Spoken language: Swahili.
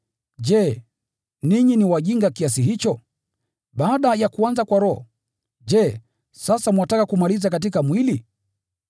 Je, ninyi ni wajinga kiasi hicho? Baada ya kuanza kwa Roho, je, sasa mwataka kumalizia katika mwili?